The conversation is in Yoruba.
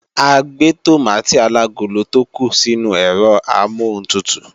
A gbé tòmátì alagolo tó kù sínú ẹ̀rọ amọ́huntutù